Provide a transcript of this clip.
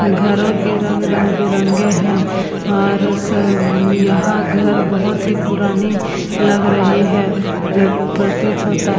घरों के रंग रंग-बिरंगे हैं और सब यहाँ घर बहौत ही पुराने लग रहे हैं जो प्रतीत होता --